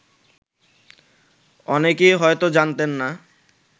অনেকেই হয়ত জানতেন না